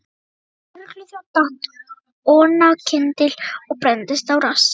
Ungur lögregluþjónn datt oná kyndil og brenndist á rassi.